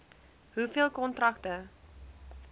hoeveel kontrakte